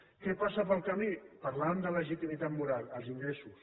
què passa pel camí parlàvem de legitimitat moral els ingressos